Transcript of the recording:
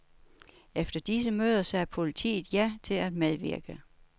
Efter disse møder sagde politiet ja til at medvirke.